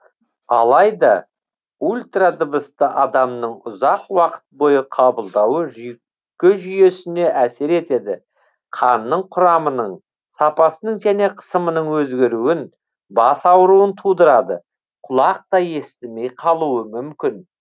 алайда ультрадыбысты адамның ұзақ уақыт бойы қабылдауы жүйке жүйесіне әсер етеді қанның құрамының сапасының және қысымының өзгеруін бас ауруын тудырады құлақ та естімей қалуы мүмкін